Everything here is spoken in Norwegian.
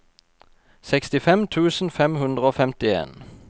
sekstifem tusen fem hundre og femtien